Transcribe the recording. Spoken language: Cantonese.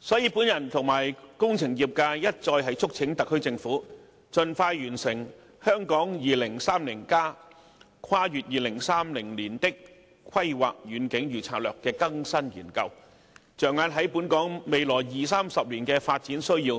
所以，本人與工程業界一再促請特區政府盡快完成《香港 2030+： 跨越2030年的規劃遠景與策略》的更新研究，着眼於本港未來二三十年的發展需要，